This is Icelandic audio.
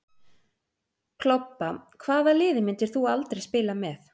Klobba Hvaða liði myndir þú aldrei spila með?